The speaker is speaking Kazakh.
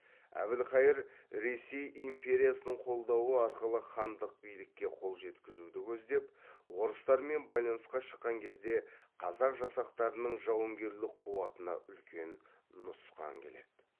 әбілқайыр ресей империясының қолдауы арқылы хандық билікке қол жеткізуді көздеп орыстармен байланысқа шыққан кезде қазақ жасақтарының жауынгерлік қуатына үлкен нұсқан келеді